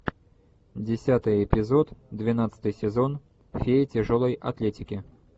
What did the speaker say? десятый эпизод двенадцатый сезон фея тяжелой атлетики